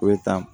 O bɛ taa